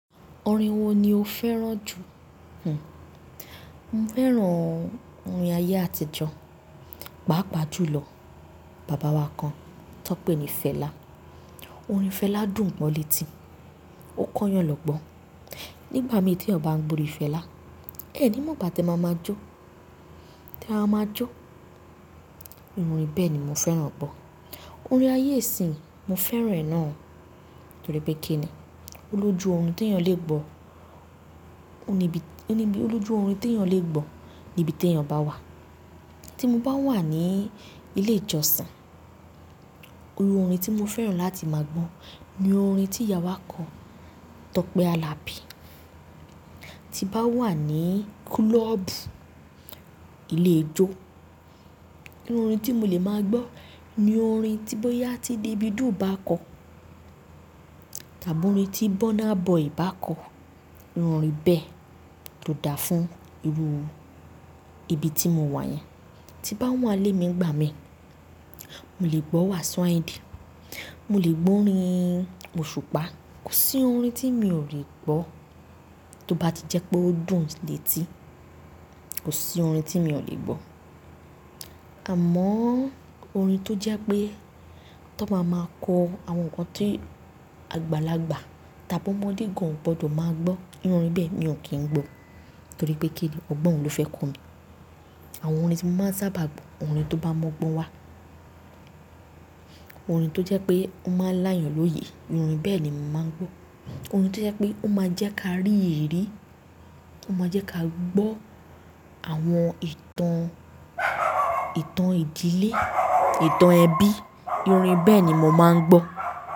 Orin wo ni o fẹ́ràn jù? Hmm, mo fẹ́ràn orin ayé àtijọ́, pàápàá jùlọ bàbá wa kan tó pè ní Fela. Orin Fela dùn bó létí, ó kóyan lọ́gbọ́n. Nígbà mi tí èèyàn ń bá gbórin Fela, ẹ́ni mọ̀ ìgbà tẹ mọ́ máa jó, tí a má ma jó. Bẹ́ẹ̀ni, mo fẹ́ràn ẹ pọ̀. Orin ayé ìsìn mo fẹ́ràn ẹ̀ náà torí pé kíni, ó lójú orin tí èèyàn lè gbọ́, ó níbi, ó lójú orin tí èèyàn lè gbọ́ ní ibi tí èèyàn bá wà. Tí mo bá wà ní ilé ìjọsìn, irú orin tí mo fẹ́ràn láti máa gbọ́ ni orin tí ìyá wa kọ, Tọ́pẹ́ Alabi. Tí bá wà ní club, ilé-ijó, orin tí mo lè ma gbọ́, ni orin tí bọ́yá tí Davido bá kọ. Tàbí orin tí Burna Boy bá kọ, irú orin bẹ́ẹ̀ tó dáa fún irú ibi tí mo wà yẹn. Tí bá wà n ilé mi ìgbà mí, mo lè gbọ́ Wasiu Ayinde, mo lè gbọ́ orin Oṣùpá, kò sí orin tí mi ò lè gbọ́ tó bá ti jẹ́ pé ó dùn létí. Kò sí orin tí mi ò lè gbọ́. Àmọ́ orin tó jẹ́ pé tó bá máa kọ àwọn nǹkan tí àgbàlagbà tàbí ọmọdé gan ò gbọdọ̀ máa gbọ́, irú orin bẹ́ẹ̀ ni n ò kí ń gbọ́ torí pé kíni, ọ̀gbọ́n òún ló fẹ́ kọ mí. Àwọn orin tí mo máa ń sábà gbọ́, orin tó bá mọgbọ́n wà, orin tó jẹ́ pé ó máa láyàń lóye, irú orin bẹ́ẹ̀ ni mo máa ń gbọ́. Orin tó jẹ́ pé ó máa jẹ́ kí a rí èérí, ó máa jẹ́ kí a gbọ́ àwọn ìtàn, ìtàn ìdílé, ìtàn ẹbí, irú orin bẹ́ẹ̀ ni mo máa ń gbọ́.